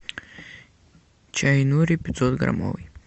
чай нури пятьсот граммовый